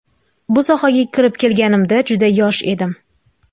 Bu sohaga kirib kelganimda juda yosh edim.